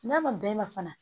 N'a man bɛn e ma fana